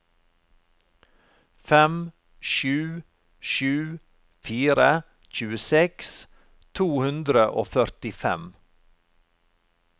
fem sju sju fire tjueseks to hundre og førtifem